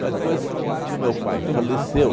Mas depois que o meu pai faleceu,